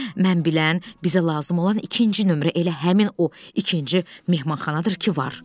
Mən bilən, bizə lazım olan ikinci nömrə elə həmin o ikinci mehmanxanadır ki, var.